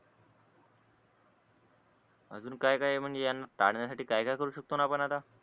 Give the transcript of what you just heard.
अजून काय काय म्हणजे यांना टाळण्यासाठी काय काय करू शकतो ना आपण आता